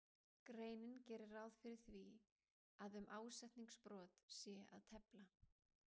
greinin gerir ráð fyrir því að um ásetningsbrot sé að tefla.